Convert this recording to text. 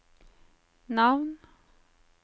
navn